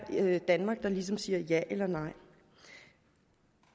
danmark der ligesom siger ja eller nej